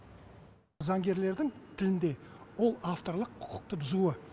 заңгерлердің тілінде ол авторлық құқықты бұзуы